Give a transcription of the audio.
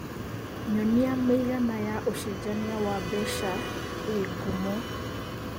nyonĩa mĩĩgana ya ũcenjanĩa wa mbeca ĩ ngumo